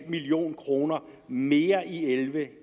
million kroner mere i elleve